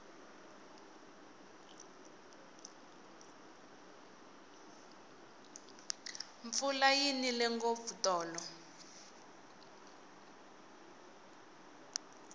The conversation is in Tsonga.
mpfula yi nile ngopfu tolo